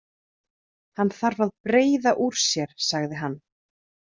Hann þarf að breiða úr sér, sagði hann.